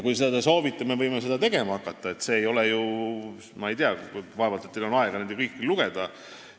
Kui te soovite, siis me võime seda tegema hakata, aga vaevalt teil on aega kõike lugeda.